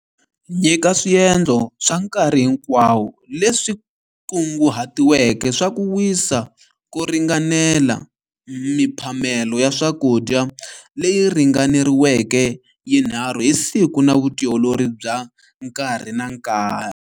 Nyika swiendlo swa nkarhi hinkwawo leswi kunguhatiweke swa ku wisa ko ringanela, miphamelo ya swakudya leyi ringaneriweke yinharhu hi siku na vutiolori bya nkarhi na nkarhi.